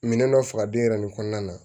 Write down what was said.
Minɛn dɔ faga den yɛrɛ nin kɔnɔna na